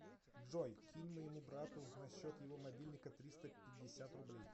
джой кинь моему брату на счет его мобильника триста пятьдесят рублей